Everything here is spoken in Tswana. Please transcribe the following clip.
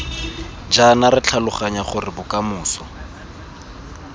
jaana re tlhaloganya gore bokamoso